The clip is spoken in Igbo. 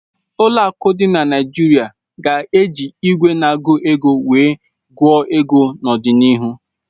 Ụlọ akụ dị na Naịjirịa ga-eji igwe na-agụ ego wee gụọ ego n'ọdịnihu